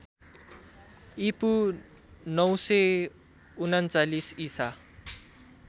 ईपू ९३९ ईसा